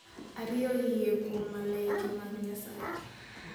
Ariyo, Yie Kuom Malaike mag Nyasaye.